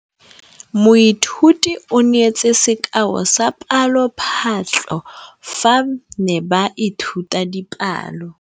Moithuti o neetse sekaô sa palophatlo fa ba ne ba ithuta dipalo.